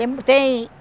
tem.